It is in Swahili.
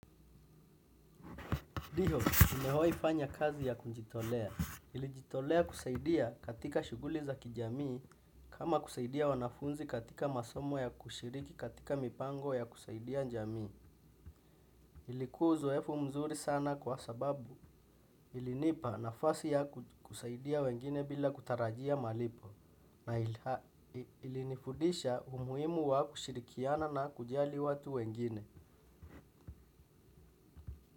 Diho, nimewai fanya kazi ya kunjitolea. Nilijitolea kusaidia katika shughuli za kijamii kama kusaidia wanafunzi katika masomo ya kushiriki katika mipango ya kusaidia njamii. Ilikua uzoefu mzuri sana kwa sababu ilinipa nafasi ya kusaidia wengine bila kutarajia malipo. Na ilinifudisha umuhimu wa kushirikiana na kujali watu wengine.